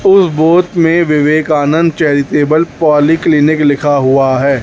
उस बोर्द में Vivekananda charitable polyclinic लिखा हुआ है।